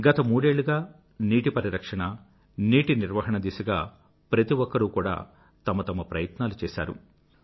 గత మూడేళ్ళుగా నీటి పరిరక్షణ నీటి నిర్వహణ దిశగా ప్రతి ఒక్కరూ కూడా తమ తమ ప్రయత్నాలు చేశారు